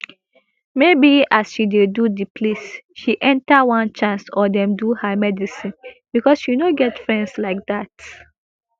maybe as she dey go di place she enter onechance or dem do her medicine becos she no get friends like dat